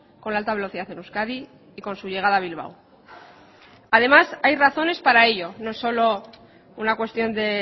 con la alta velocidad en euskadi y con su llegada a bilbao además hay razones para ello no solo una cuestión de